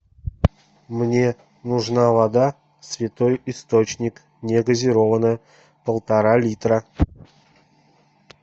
мне нужна вода святой источник негазированная полтора литра